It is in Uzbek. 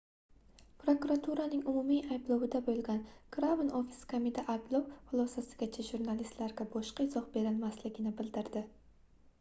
prokuraturaning umumiy ayblovida boʻlgan crown office kamida ayblov xulosasigacha jurnalistlarga boshqa izoh berilmasligini bildirdi